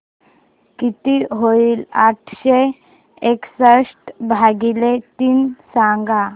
किती होईल आठशे एकसष्ट भागीले तीन सांगा